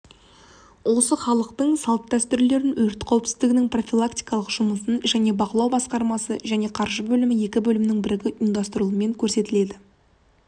осы халықтың салт-дәстүрлерін өрт қауіпсіздігінің профилактикалық жұмысы және бақылау басқармасы және қаржы бөлімі екі бөлімнің бірігіп ұйымдастырылуымен көрсетілді іс-шараға қатысқан барлық